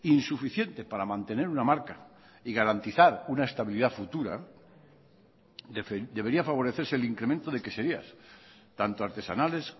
insuficiente para mantener una marca y garantizar una estabilidad futura debería favorecerse el incremento de queserías tanto artesanales